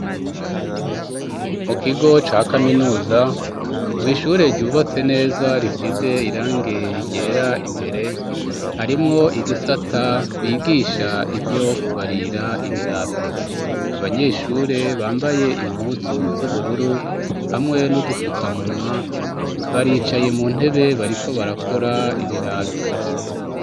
Mu kigo ca kaminuza mwishure ryubatse neza risize irange ryera imbere harimwo igisata bigisha ivyo kubarira ibirato abanyeshure bambaye impuzu z'ubururu hamwe n'udupfukamunwa bari icaye mu ntebe bariko barakora ibirato.